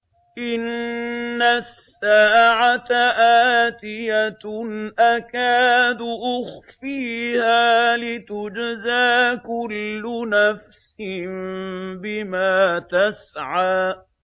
إِنَّ السَّاعَةَ آتِيَةٌ أَكَادُ أُخْفِيهَا لِتُجْزَىٰ كُلُّ نَفْسٍ بِمَا تَسْعَىٰ